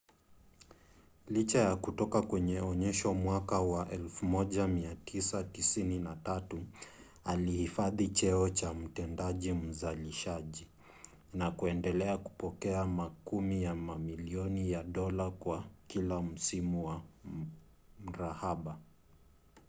licha ya kutoka kwenye onyesho mwaka wa 1993 alihifadhi cheo cha mtendaji mzalishaji na kuendelea kupokea makumi ya mamilioni ya dola kwa kila msimu wa mrahaba